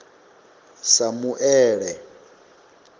samuele